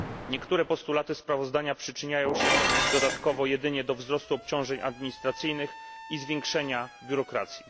Niektóre postulaty sprawozdania przyczyniają się dodatkowo jedynie do wzrostu obciążeń administracyjnych i zwiększenia biurokracji.